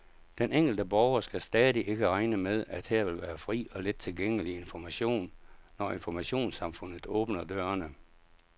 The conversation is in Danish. Den enkelte borger skal stadig ikke regne med, at her vil være fri og let tilgængelig information, når informationssamfundet åbner dørene.